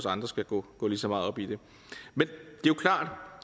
andre skal gå lige så meget op i det men